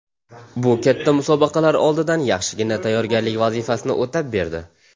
Bu katta musobaqalar oldidan yaxshigina tayyorgarlik vazifasini o‘tab berdi.